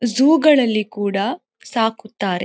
Zoo ಗಳಲ್ಲಿ ಕೂಡ ಸಾಕುತ್ತಾರೆ.